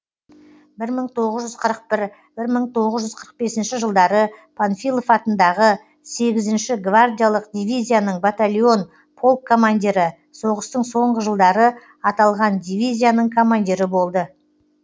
бір мың тоғыз жүз қырық бірінші бір мың тоғыз жүз қырық бесінші жылдары панфилов атындағы сегізінші гвардиялық дивизияның батальон полк командирі соғыстың соңғы жылдары аталған дивизияның командирі болды